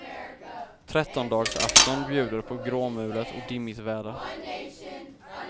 Trettondedagsafton bjuder på gråmulet och dimmigt väder.